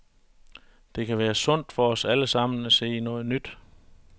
Det kan være sundt for os alle sammen at se noget nyt.